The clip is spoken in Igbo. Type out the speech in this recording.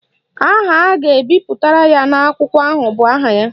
Aha a ga-ebiri ya n'ákwà ahụ bụ aha ya